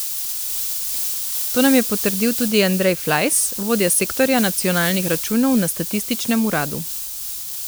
To nam je potrdil tudi Andrej Flajs, vodja sektorja nacionalnih računov na statističnem uradu.